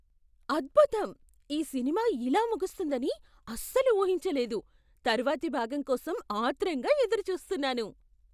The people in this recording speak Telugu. అద్భుతం! ఈ సినిమా ఇలా ముగుస్తుందని అస్సలు ఊహించలేదు. తర్వాతి భాగం కోసం ఆత్రంగా ఎదురుచూస్తున్నాను.